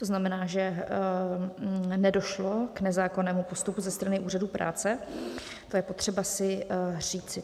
To znamená, že nedošlo k nezákonnému postupu ze strany Úřadu práce, to je potřeba si říci.